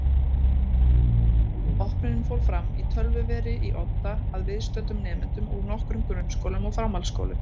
Opnunin fór fram í tölvuveri í Odda að viðstöddum nemendum úr nokkrum grunnskólum og framhaldsskólum.